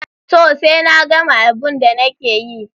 Toh, sai na gama abun da nike yi.